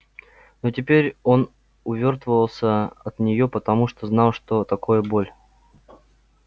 но теперь он увёртывался от нее потому что знал что такое боль